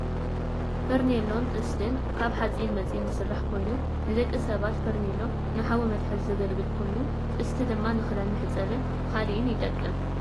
ፋርኔሎን ጥስትን ካብ ሓፂን መፂን ዝስራሕ ኮይኑ ንደቂ ሰባት ፋርኔሎ ንሓዊ መትሓዚ ዘገልግል ኮይኑ ጥስቲ ድማ ንክዳን መሕፀብን ካልእን ይጠቅም።